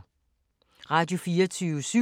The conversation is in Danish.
Radio24syv